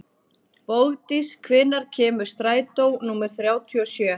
Bogdís, hvenær kemur strætó númer þrjátíu og sjö?